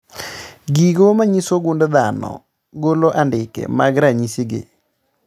Gigo manyiso gund dhano golo andike mag ranyisi gi